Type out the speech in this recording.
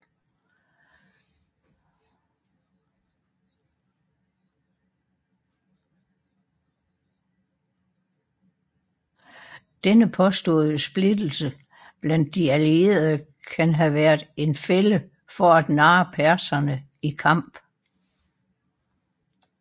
Denne påståede splittelse blandt de allierede kan have været en fælde for at narre perserne i kamp